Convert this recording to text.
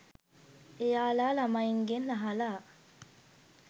එයාලා ළමයින්ගෙන් අහලා